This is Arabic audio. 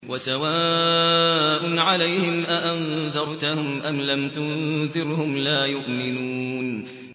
وَسَوَاءٌ عَلَيْهِمْ أَأَنذَرْتَهُمْ أَمْ لَمْ تُنذِرْهُمْ لَا يُؤْمِنُونَ